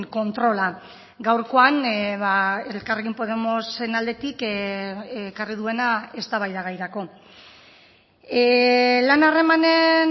kontrola gaurkoan elkarrekin podemosen aldetik ekarri duena eztabaidagairako lan harremanen